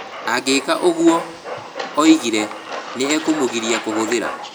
Angĩka ũguo, oigire, nĩ ekũmũgiria kũhũthĩra.